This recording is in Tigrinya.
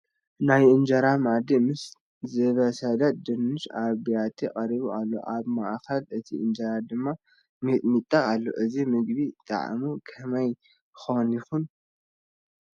ናይ እንጀራ መኣዲ ምስ ዝበሰለ ድንሽ ኣብ ቢያቲ ቀሪቡ ኣሎ፡፡ ኣብ ማእኸል እቲ እንጀራ ድማ ሚጥሚጣ ኣሎ፡፡ እዚ ምግቢ ጣዕሙ ከመይ ኮን ይኸውን?